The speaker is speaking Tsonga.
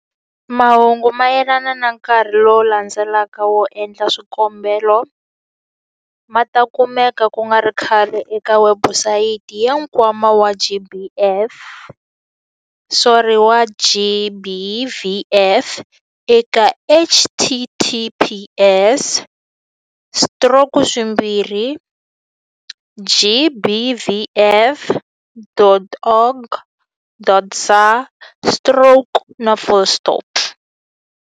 Mahungu mayelana na nkarhi lowu landzelaka wo endla swikombelo ma ta kumeka ku nga ri khale eka webusayiti ya Nkwama wa GBVF eka- https- stroke swimbirhi gbvf.org.za stroke na full stop.